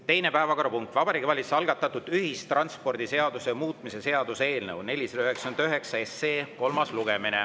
Teine päevakorrapunkt: Vabariigi Valitsuse algatatud ühistranspordiseaduse muutmise seaduse eelnõu 499 kolmas lugemine.